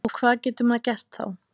Og hvað getur maður gert þá?